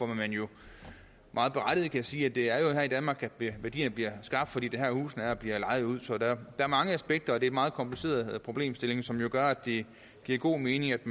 kan jo meget berettiget sige at det er her i danmark værdierne bliver skabt fordi det er her husene er og bliver lejet ud så der er mange aspekter i meget kompliceret problemstilling som gør at det giver god mening at